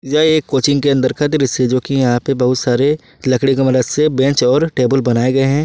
यह एक कोचिंग के अंदर का दृश्य जो कि यहां पे बहुत सारे लकड़ी का मदद से बेंच और टेबल बनाए गए हैं।